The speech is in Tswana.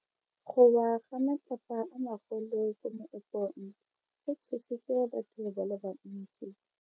Go wa ga matlapa a magolo ko moepong go tshositse batho ba le bantsi.